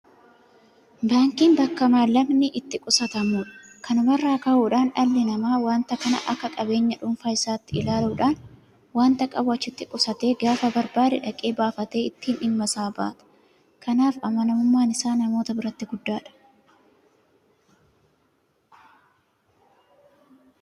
Baankiin bakka maallaqni itti qusatamudha. Kanuma irraa ka'uudhaan dhalli namaa waanta kana akka qabeenya dhuunfaa isaatti ilaaluudhaan waanta qabu achitti qusatee gaafa barbaade dhaqee baafatee ittiin dhimma isaa bahata. Kanaaf amanamummaan isaa namoota biratti guddaadha.